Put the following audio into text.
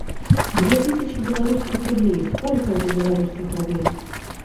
две тысячи белорусских рублей сколько это белорусских рублей